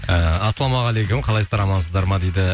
ыыы ассалаумағалейкум қалайсыздар амансыздар ма дейді